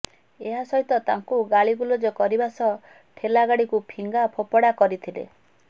ଏହା ସହିତ ତାଙ୍କୁ ଗାଳିଗୁଲଜ କରିବା ସହ ଠେଲାଗାଡ଼ିକୁ ଫିଙ୍ଗା ଫୋପଡା କରିଥିଲେ